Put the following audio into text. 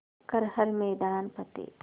कर हर मैदान फ़तेह